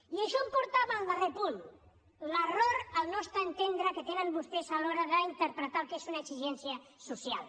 i això em porta al darrer punt l’error al nostre entendre que tenen vostès a l’hora d’interpretar el que és una exigència social